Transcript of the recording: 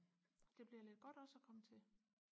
det bliver lidt godt også og komme til